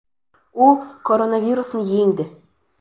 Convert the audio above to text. U koronavirusni yengdi.